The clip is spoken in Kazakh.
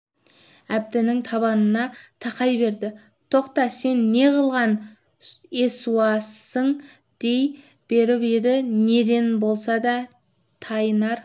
әбдінің табанына тақай берді тоқта сен неғылған есуассың дей беріп еді неден болса да тайынар